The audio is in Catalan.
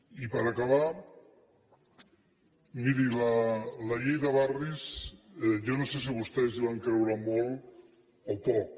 i per acabar miri la llei de barris jo no sé si vostès hi van creure molt o poc